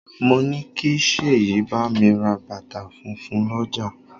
Mo ní kí Sèyí bámi ra bàtà funfun l'ọja